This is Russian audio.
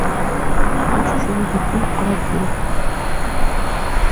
хочешь увидеть фильм харакири